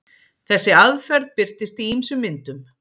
Þessi aðferð birtist í ýmsum myndum.